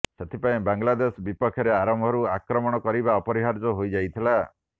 ସେଥିପାଇଁ ବାଂଲାଦେଶ ବିପକ୍ଷରେ ଆରମ୍ଭରୁ ଆକ୍ରମଣ କାରିବା ଅପରିହାର୍ଯ୍ୟ ହୋଇଯାଇଥିଲା